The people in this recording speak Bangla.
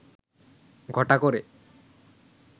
ঘটা করে